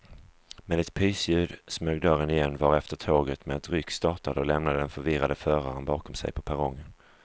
Med ett pysljud smög dörren igen varefter tåget med ett ryck startade och lämnade den förvirrade föraren bakom sig på perrongen.